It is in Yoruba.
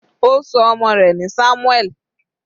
Ó ṣọ ọmọ rẹ̀ ní Samuel.